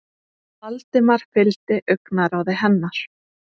Valdimar fylgdi augnaráði hennar.